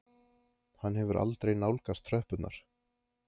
Hann hefur aldrei nálgast tröppurnar.